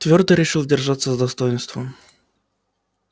твёрдо решил держаться с достоинством